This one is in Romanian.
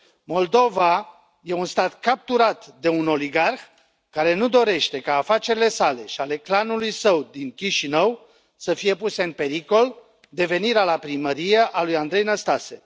Moldova este un stat capturat de un oligarh, care nu dorește ca afacerile sale și ale clanului său din Chișinău să fie puse în pericol de venirea la primărie a lui Andrei Năstase.